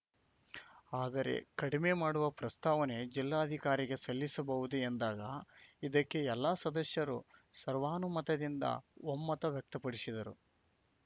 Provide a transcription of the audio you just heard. ಆದರೆ ಕಡಿಮೆ ಮಾಡುವ ಪ್ರಸ್ತಾವನೆ ಜಿಲ್ಲಾಧಿಕಾರಿಗೆ ಸಲ್ಲಿಸಬಹುದು ಎಂದಾಗ ಇದಕ್ಕೆ ಎಲ್ಲ ಸದಸ್ಯರು ಸರ್ವಾನುಮತದಿಂದ ಒಮ್ಮತ ವ್ಯಕ್ತಪಡಿಸಿದರು